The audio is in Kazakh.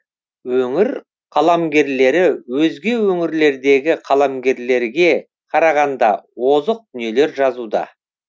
өңір қаламгерлері өзге өңірлердегі қаламгерлерге қарағанда озық дүниелер жазуда